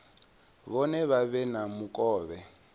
vhone vha vhe na mukovhe